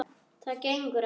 Það gengur ekki!